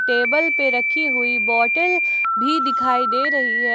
Table पे रखी हुई बॉटल भी दिखाई दे रही है।